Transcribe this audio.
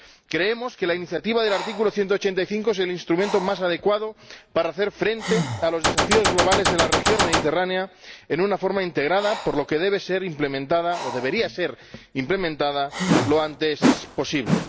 Creemos que la iniciativa del artículo 185 es el instrumento más adecuado para hacer frente a los desafíos globales de la región mediterránea en una forma integrada, por lo que debe ser implementada —o debería ser implementada— lo antes posible.